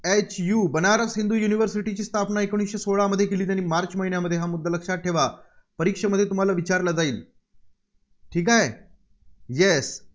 HU Banaras Hindu युनिव्हर्सिटीची स्थापना एकोणीसशे सोळामध्ये केली, त्यांनी मार्च महिन्यामध्ये. हा मुद्दा लक्षात ठेवा. परीक्षमध्ये तुम्हाला विचारलं जाईल. ठीक आहे? Yes